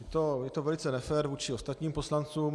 Je to velice nefér vůči ostatním poslancům.